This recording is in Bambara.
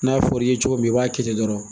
N'a fɔr'i ye cogo min i b'a kɛ ten dɔrɔn.